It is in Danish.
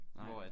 Nej